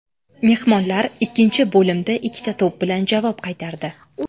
Mehmonlar ikkinchi bo‘limda ikkita to‘p bilan javob qaytardi.